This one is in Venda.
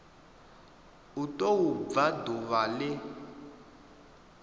u tou bva ḓuvha ḽe